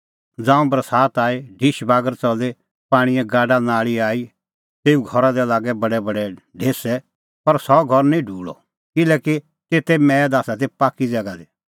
ज़ांऊं बरसात आई ढिश बागर च़ली पाणींए गाडानाल़ी आई तेऊ घरा दी लागै बडैबडै ढेसै पर सह घर निं ढूल़अ किल्हैकि तेते मैद आसा ती पाक्की ज़ैगा दी